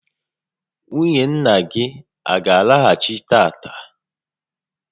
Nwunye nna gị a gá alọghachi tata?